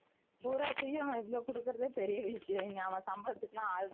not clear அவன் இவ்ளோ கொடுக்கறத்தே பெரிய விசயம் இங்க அவன் சம்பளத்து